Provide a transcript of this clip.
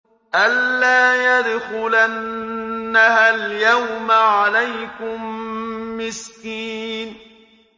أَن لَّا يَدْخُلَنَّهَا الْيَوْمَ عَلَيْكُم مِّسْكِينٌ